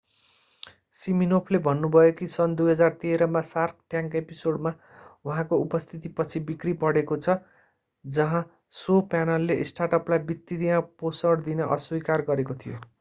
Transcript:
सिमिनोफले भन्नुभयो कि सन् 2013 मा सार्क ट्याङ्क एपिसोडमा उहाँको उपस्थितिपछि बिक्री बढेको छ जहाँ शो प्यानलले स्टार्टअपलाई वित्तीय पोषण दिन अस्वीकार गरेको थियो